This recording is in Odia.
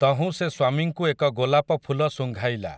ତହୁଁ ସେ ସ୍ୱାମୀଙ୍କୁ ଏକ ଗୋଲାପ ଫୁଲ ଶୁଙ୍ଘାଇଲା ।